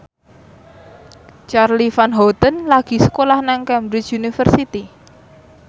Charly Van Houten lagi sekolah nang Cambridge University